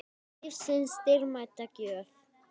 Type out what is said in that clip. Lífsins dýrmæta gjöf.